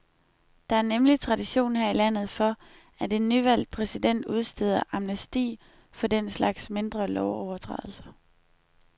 Der er nemlig tradition her i landet for, at en nyvalgt præsident udsteder amnesti for den slags mindre lovovertrædelser.